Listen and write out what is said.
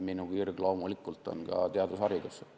Minu kirg on loomulikult ka teadus ja haridus.